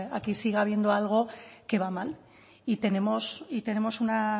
aquí siga habiendo algo que va mal y tenemos una